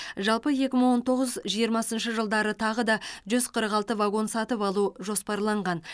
жалпы екі мың он тоғыз жиырмасыншы жылдары тағы да жүз қырық алты вагон сатып алу жоспарланған